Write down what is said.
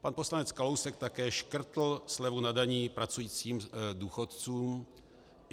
Pan poslanec Kalousek také škrtl slevu na daních pracujícím důchodcům.